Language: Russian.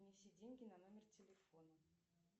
внеси деньги на номер телефона